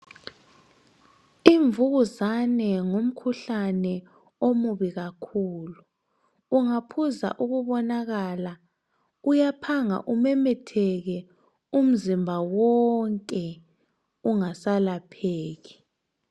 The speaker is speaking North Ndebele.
Imvukuzane ngumkhuhlane omubi kakhulu ungaphuza ukubonakala uyaphanga umemetheke umzimba wonke ungasalapheki